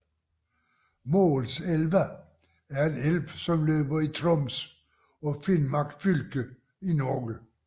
Målselva er en elv som løber i Troms og Finnmark fylke i Norge